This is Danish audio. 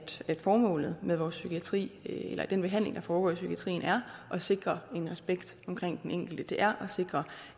formålet med vores psykiatri eller den behandling der foregår i psykiatrien er at sikre en respekt omkring den enkelte det er at sikre